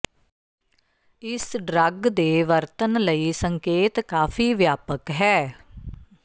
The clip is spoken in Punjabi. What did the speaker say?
ਇਸ ਡਰੱਗ ਦੇ ਵਰਤਣ ਲਈ ਸੰਕੇਤ ਕਾਫ਼ੀ ਵਿਆਪਕ ਹੈ